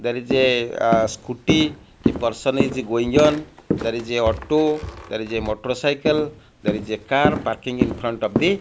there is a ah scooty a person is going on there is a auto there is a motorcycle there is a car parking infront of the--